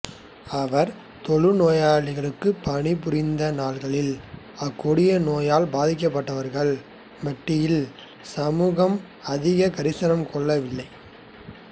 அவர் தொழுநோயாளருக்குப் பணிபுரிந்த நாள்களில் அக்கொடிய நோயால் பாதிக்கப்பட்டவர்கள் மட்டில் சமுதாயம் அதிக கரிசனம் கொண்டிருக்கவில்லை